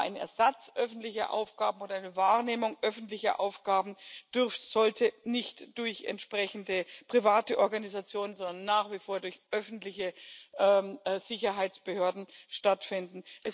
Aber ein Ersatz für öffentliche Aufgaben oder eine Wahrnehmung öffentlicher Aufgaben sollte nicht durch entsprechende private Organisationen, sondern nach wie vor durch öffentliche Sicherheitsbehörden stattfinden.